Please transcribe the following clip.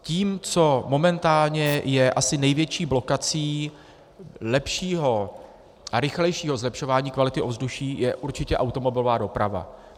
Tím, co momentálně je asi největší blokací lepšího a rychlejšího zlepšování kvality ovzduší, je určitě automobilová doprava.